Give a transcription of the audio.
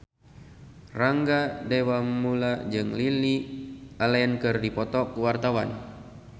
Rangga Dewamoela jeung Lily Allen keur dipoto ku wartawan